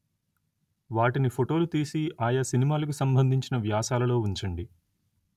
వాటిని ఫొటోలు తీసి ఆయా సినిమాలకు సంబంధించిన వ్యాసాలలో ఉంచండి